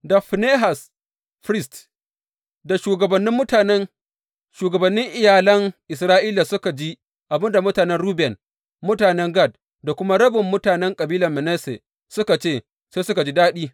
Da Finehas firist, da shugabannin mutanen, shugabannin iyalan Isra’ila, suka ji abin da mutanen Ruben, mutanen Gad da kuma rabin mutanen kabilar Manasse suka ce, sai suka ji daɗi.